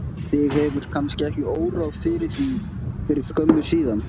Þig hefur kannski ekki órað fyrir því fyrir skömmu síðan?